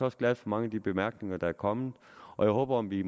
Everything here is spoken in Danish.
også glad for mange af de bemærkninger der er kommet jeg håber at vi